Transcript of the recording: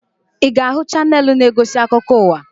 Ị ga-ahụ chaneelụ na-egosi akụkọ ụwa?